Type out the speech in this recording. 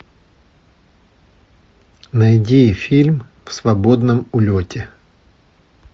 найди фильм в свободном улете